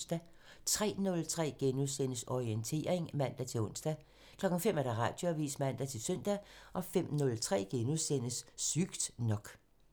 03:03: Orientering *(man-ons) 05:00: Radioavisen (man-søn) 05:03: Sygt nok *